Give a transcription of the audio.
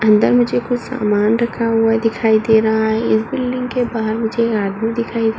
अंदर मुझे कुछ सामान रखा हुआ दिखाई दे रहा है। इस बिल्डिंग के बाहर मुझे आदमी दिखाई --